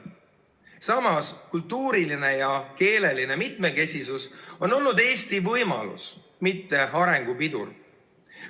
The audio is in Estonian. Samas, kultuuriline ja keeleline mitmekesisus on olnud Eesti võimalus, mitte arengupidur.